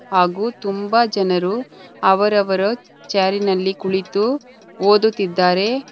ಹಾಗೂ ತುಂಬಾ ಜನರು ಅವರವರ ಜಾರಿನಲ್ಲಿ ಕುಳಿತು ಓದುತ್ತಿದ್ದಾರೆ.